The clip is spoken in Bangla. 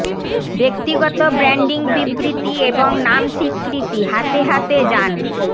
ব্যক্তিগত ব্র্যান্ডিং বিবৃতি এবং নাম স্বীকৃতি হাতে হাতে যান